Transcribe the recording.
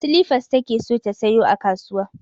Silifas take so ta saya a kasuwa